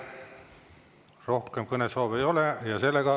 Rohkem kõnesoove ei ole.